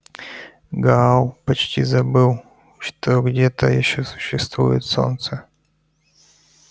гаал почти забыл что где-то ещё существует солнце